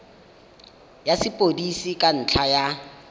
ya sepodisi ka ntlha ya